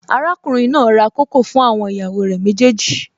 Arákùnrin náà ra kókò fún àwọn ìyàwó rẹ̀ méjèèjì